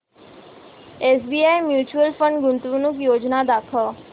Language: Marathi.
एसबीआय म्यूचुअल फंड गुंतवणूक योजना दाखव